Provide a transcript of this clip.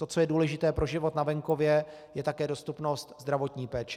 To, co je důležité pro život na venkově, je také dostupnost zdravotní péče.